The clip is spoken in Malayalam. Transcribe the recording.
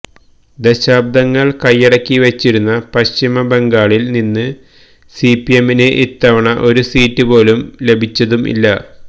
ദശാബ്ദങ്ങള് കൈയ്യടക്കി വച്ചിരുന്ന പശ്ചിമ ബംഗാളില് നിന്ന് സിപിഎമ്മിന് ഇത്തവണ ഒരു സീറ്റ് പോലും ലഭിച്ചതും ഇല്ല